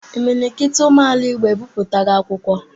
Imilikiti ụmụ ala igbo ebiputago akwụkwọ.